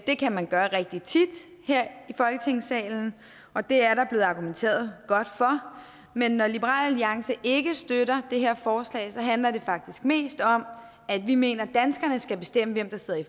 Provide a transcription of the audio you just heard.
det kan man gøre rigtig tit her i folketingssalen og det er der blevet argumenteret godt for men når liberal alliance ikke støtter det her forslag handler det faktisk mest om at vi mener at danskerne skal bestemme hvem der sidder i